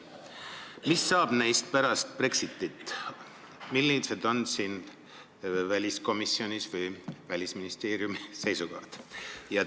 Mis saab neist pärast Brexitit, millised on siin väliskomisjoni või Välisministeeriumi seisukohad?